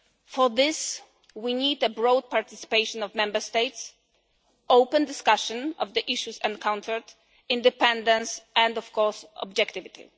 For this we need the broad participation of Member States, open discussion of the issues encountered, independence and, of course, objectivity.